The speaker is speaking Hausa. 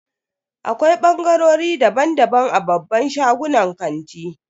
Akwai bangarori daban-daban a babban shagunan kanti.